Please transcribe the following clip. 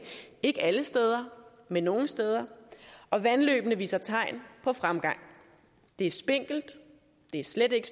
ikke alle steder men nogle steder og vandløbene viser tegn på fremgang det er spinkelt og det er slet ikke